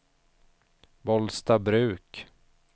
Bollstabruk